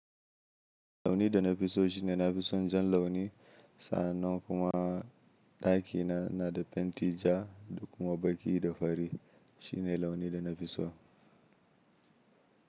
Launi da na fi so shine na fi son jan launi. Sannan kuma ɗakina na da fenti ja da kuma baki da fari. Shi ne launi da na fi so.